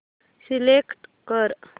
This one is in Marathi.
सिलेक्ट कर